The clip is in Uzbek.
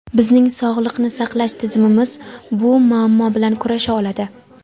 Bizning sog‘liqni saqlash tizimimiz bu muammo bilan kurasha oladi.